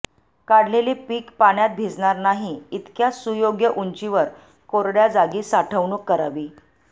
काढलेले पिक पाण्यात भिजणार नाही इतक्या सुयोग्य उंचीवर कोरड्या जागी साठवणूक करावी